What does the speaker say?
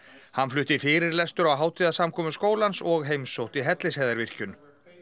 hann flutti fyrirlestur á hátíðarsamkomu skólans og heimsótti Hellisheiðarvirkjun